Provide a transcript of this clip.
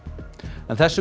þessum